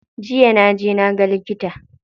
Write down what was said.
Jiya na je na ga likita.